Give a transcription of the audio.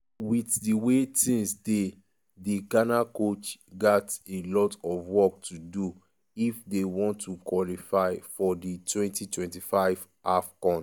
wit di way tins dey di ghana coach gat a lot of work to do if dey want to qualify for di 2025 afcon.